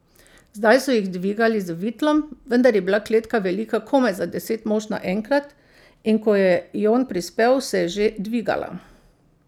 Zdaj so jih dvigali z vitlom, vendar je bila kletka velika komaj za deset mož naenkrat, in ko je Jon prispel, se je že dvigala.